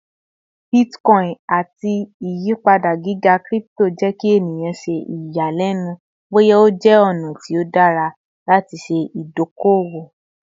Bitcoin ati iyipada giga crypto jẹ ki eniyan ṣe iyalẹnu boya o jẹ ọna ti o dara lati ṣe idoko-owo